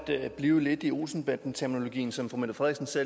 blive lidt i olsen banden terminologien som fru mette frederiksen